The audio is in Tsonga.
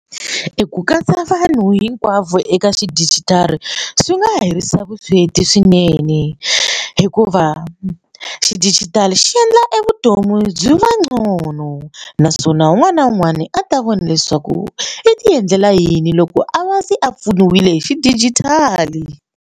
Ku katsa vanhu hinkwavo eka xidijitali swi nga herisa vusweti swinene hikuva xidigitali xi endla e vutomi byi va ngcono naswona un'wana na un'wana a ta vona leswaku i ti endlela yini loko a va se a pfunile hi xidijitali.